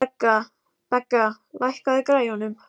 Begga, lækkaðu í græjunum.